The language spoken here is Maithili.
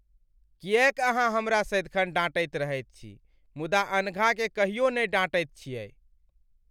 किएक अहाँ हमरा सदिखन डाँटैत रहैत छी मुदा अनघाकेँ कहियो नहि डाँटैत छियैक ?